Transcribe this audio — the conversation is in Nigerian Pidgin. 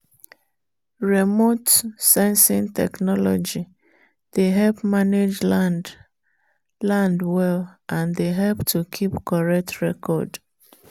remote-sensing technology dey help manage land land well and dey help to keep correct record.